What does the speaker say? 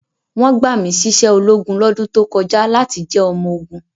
Wọ́n gbà mí síṣẹ́ ológun lọ́dún tó kọjá láti jẹ́ ọmọ ogun.